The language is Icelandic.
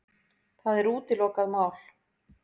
Það er útilokað mál.